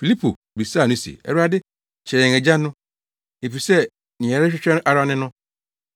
Filipo bisaa no se, “Awurade, kyerɛ yɛn Agya no, efisɛ nea yɛrehwehwɛ ara ne no.”